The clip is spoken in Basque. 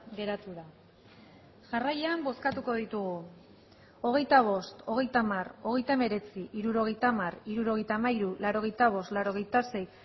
geratu da jarraian bozkatuko ditugu hogeita bost hogeita hamar hogeita hemeretzi hirurogeita hamar hirurogeita hamairu laurogeita bost laurogeita sei